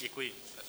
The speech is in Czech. Děkuji.